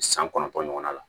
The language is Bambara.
San kɔnɔntɔn ɲɔgɔnna la